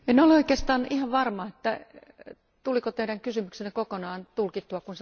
En ole oikeastaan ihan varma siitä, tuliko Teidän kysymyksenne kokonaan tulkattua.